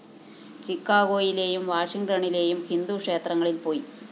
ചിക്കാഗോയിലെയും വാഷിങ്ടണ്ണിലേയും ഹിന്ദുക്ഷേത്രങ്ങളില്‍ പോയി